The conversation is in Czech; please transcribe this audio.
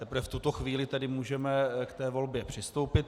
Teprve v tuto chvíli tedy můžeme k té volbě přistoupit.